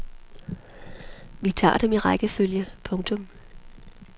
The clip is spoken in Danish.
Vi tager dem i rækkefølge. punktum